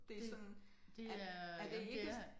Det er sådan er er det ikke